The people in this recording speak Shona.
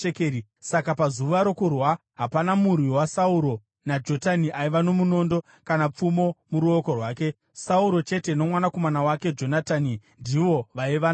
Saka pazuva rokurwa hapana murwi waSauro naJonatani aiva nomunondo kana pfumo muruoko rwake; Sauro chete nomwanakomana wake Jonatani ndivo vaiva nazvo.